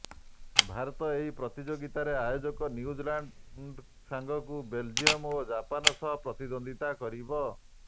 ଭାରତ ଏହି ପ୍ରତିଯୋଗିତାରେ ଆୟୋଜକ ନ୍ୟୁଜିଲାଣ୍ଡ୍ ସାଙ୍ଗକୁ ବେଲ୍ଜିୟମ୍ ଓ ଜାପାନ ସହ ପ୍ରତିଦ୍ୱନ୍ଦ୍ୱିତା କରିବ